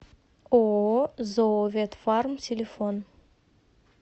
ооо зооветфарм телефон